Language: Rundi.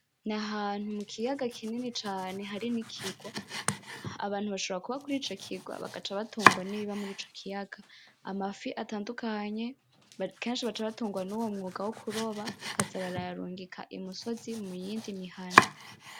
N'ahantu mu kiyaga kinini cane hari n'ikigwa. Abantu bashobora kuba kur'ico kigwa bagaca batungwa nibiba murico kiyaga, amafi atandukanye, kenshi baca batungwa nuwo mwuga wo kuroba bakaza barayarungika i musozi mu yindi mihana.